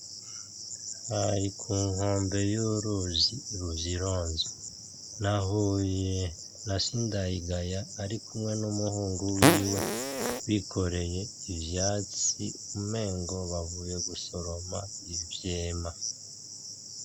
Hari ku nkombe y'uruzi Ruvyironza, nahuye na Sindayigaya arikumwe n'umuhungu wiwe bikoreye ivyatsi umengo bavuye gusoroma ivyema.